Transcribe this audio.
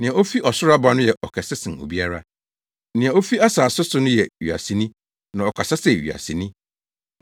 “Nea ofi ɔsoro aba no yɛ ɔkɛse sen obiara; Nea ofi asase so no yɛ wiaseni na ɔkasa sɛ wiaseni.